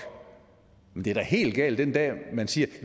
men det er da helt galt den dag hvor man siger